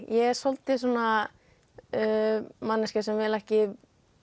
er svolítið svona manneskja sem vil ekki